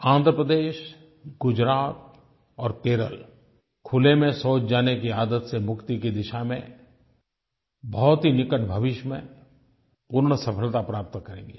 आंध्र प्रदेश गुजरात और केरल खुले में शौच जाने की आदत से मुक्ति की दिशा में बहुत ही निकट भविष्य में पूर्ण सफलता प्राप्त करेंगे